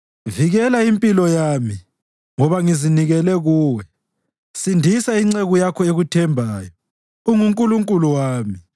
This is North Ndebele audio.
Vikela impilo yami, ngoba ngizinikele kuwe; sindisa inceku yakho ekuthembayo; UnguNkulunkulu wami.